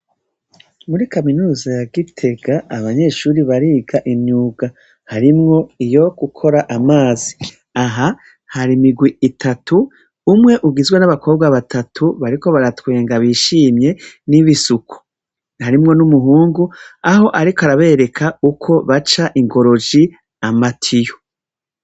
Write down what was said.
Muri kaminuza ya gitega abanyeshuri bariga inyuga harimwo iyo gukora amazi aha hari imigwi itatu umwe ugizwe n'abakobwa batatu bariko baratwenga bishimye n'ibisuku harimwo n'umuhungu aho, ariko arabereka uko baca ingoroji amatiyo.